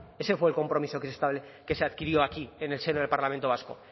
ese fue el compromiso que se adquirió aquí en el seno del parlamento vasco